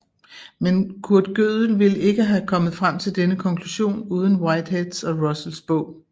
Men Kurt Gödel ville ikke have kommet frem til denne konklusion uden Whiteheads og Russells bog